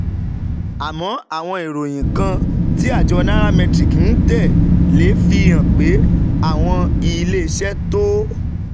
àmọ́, àwọn ìròyìn kan tí àjọ Nairametrics ń tẹ̀ lé fi hàn pé àwọn iléeṣẹ́ tó um